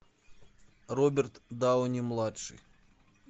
роберт дауни младший